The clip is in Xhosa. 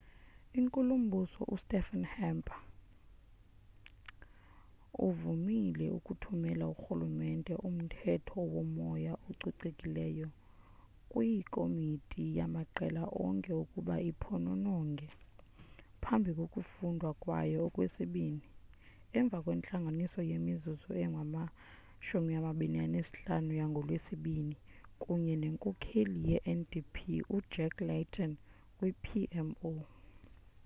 inkulumbuso ustephen harper uvumile ukuthumela urhulumente umthetho womoya ococekileyo' kwikomiti yamaqela onke ukuba iphonononge phambi kokufundwa kwayo okwesibini emva kwentlanganiso yemizuzu engama-25 yangolwesibini kunye nenkokheli ye-ndp ujack layton kwi-pmo